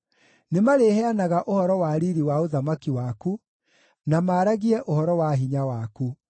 Nĩmarĩheanaga ũhoro wa riiri wa ũthamaki waku, na maaragie ũhoro wa hinya waku,